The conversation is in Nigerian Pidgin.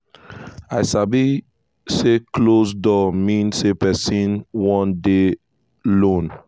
we sabi say closed door mean say person wan dey lone.